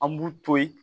An b'u to yen